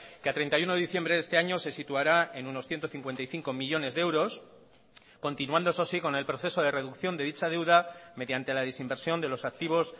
que a treinta y uno de diciembre de este año se situará en unos ciento cincuenta y cinco millónes de euros continuando eso sí con el proceso de reducción de dicha deuda mediante la desinversión de los activos